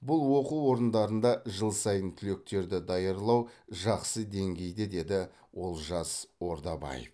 бұл оқу орындарында жыл сайын түлектерді даярлау жақсы деңгейде деді олжас ордабаев